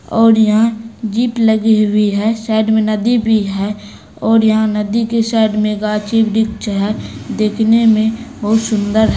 और यहाँ जीप लगी हुई है साइड में नदी भी है और यहाँ नदी के साइड में गाछी वृक्ष हैं देखने में बहुत सुंदर है।